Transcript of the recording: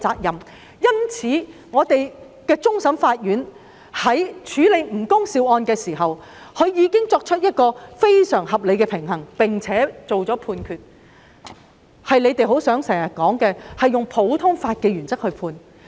因此，香港終審法院在處理吳恭劭案時，已作出非常合理的平衡，並按照他們經常說的普通法原則作出判決。